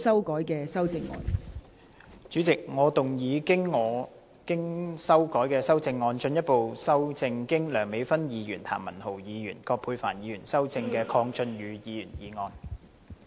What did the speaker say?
代理主席，我動議我經修改的修正案，進一步修正經梁美芬議員、譚文豪議員及葛珮帆議員修正的鄺俊宇議員議案。